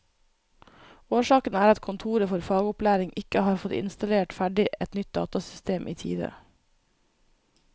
Årsaken er at kontoret for fagopplæring ikke har fått installert ferdig et nytt datasystem i tide.